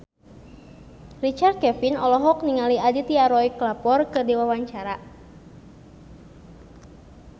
Richard Kevin olohok ningali Aditya Roy Kapoor keur diwawancara